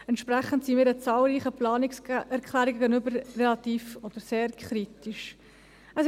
Entsprechend stehen wir den zahlreichen Planungserklärungen relativ oder sehr kritisch gegenüber.